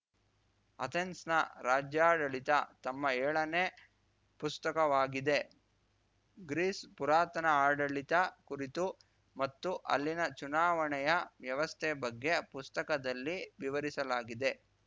ಅಥೆನ್ಸ್‌ನ ರಾಜ್ಯಾಡಳಿತ ತಮ್ಮ ಏಳನೇ ಪುಸ್ತಕವಾಗಿದೆ ಗ್ರೀಸ್‌ ಪುರಾತನ ಆಡಳಿತ ಕುರಿತು ಮತ್ತು ಅಲ್ಲಿನ ಚುನಾವಣೆಯ ವ್ಯವಸ್ಥೆ ಬಗ್ಗೆ ಪುಸ್ತಕದಲ್ಲಿ ವಿವರಿಸಲಾಗಿದೆ